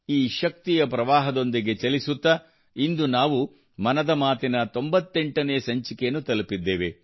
ಈ ಶಕ್ತಿಯ ಪ್ರವಾಹದೊಂದಿಗೆ ಚಲಿಸುತ್ತಾ ಇಂದು ನಾವು ಮನದ ಮಾತಿನ 98 ನೇ ಸಂಚಿಕೆಯನ್ನು ತಲುಪಿದ್ದೇವೆ